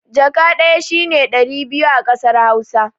Jaka ɗaya shine ɗari biyu a kasar hausa